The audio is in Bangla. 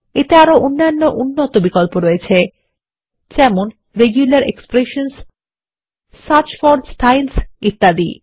এতে আরো অন্যান্য উন্নত বিকল্প রয়েছে যেমন রেগুলার এক্সপ্রেশনসহ সার্চ ফোর স্টাইলস ইত্যাদি